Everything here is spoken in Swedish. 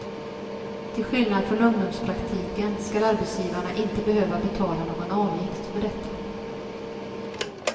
Till skillnad från ungdomspraktiken skall arbetsgivarna inte behöva betala någon avgift för detta.